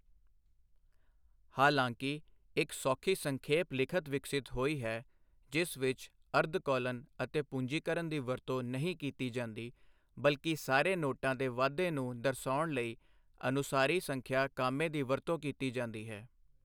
ਹਾਲਾਂਕਿ, ਇੱਕ ਸੌਖੀ ਸੰਖੇਪ ਲਿਖਤ ਵਿਕਸਿਤ ਹੋਈ ਹੈ ਜਿਸ ਵਿੱਚ ਅਰਧ ਕੋਲਨ ਅਤੇ ਪੂੰਜੀਕਰਨ ਦੀ ਵਰਤੋਂ ਨਹੀਂ ਕੀਤੀ ਜਾਂਦੀ, ਬਲਕਿ ਸਾਰੇ ਨੋਟਾਂ ਦੇ ਵਾਧੇ ਨੂੰ ਦਰਸਾਉਣ ਲਈ ਅਨੁਸਾਰੀ ਸੰਖਿਆ ਕਾਮੇ ਦੀ ਵਰਤੋਂ ਕੀਤੀ ਜਾਂਦੀ ਹੈ।